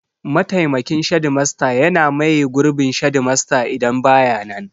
Mataimakin shedimasta yana maye gurbin shedimasta idan ba ya nan.